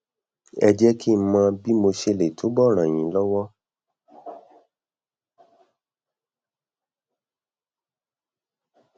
ẹ jẹ kí n mọ bí mo ṣe lè túbọ ràn yín lọwọ